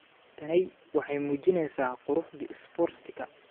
"Tani waxay muujinaysaa quruxda isboortiga.